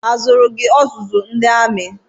I jere ọzụzụ amị?